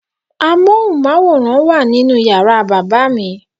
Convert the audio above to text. Móhùnmáwòrán wà nínú yàrá bàbá mi.